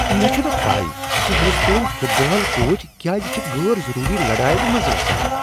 مےٚ چھنہٕ پَے ز ہنٛدستٲنۍ فٹ بال کوچ کیاز چھ غیر ضروری لڑاین منٛز وسان۔